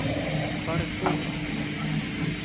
Hvar er Þóra?